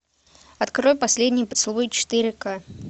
открой последний поцелуй четыре ка